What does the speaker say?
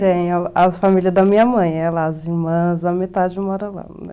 Sim, a família da minha mãe, as irmãs, a metade mora lá, né?